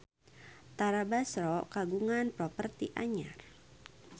Tara Basro kagungan properti anyar